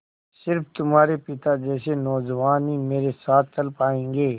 स़िर्फ तुम्हारे पिता जैसे नौजवान ही मेरे साथ चल पायेंगे